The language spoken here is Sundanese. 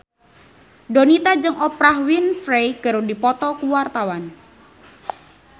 Donita jeung Oprah Winfrey keur dipoto ku wartawan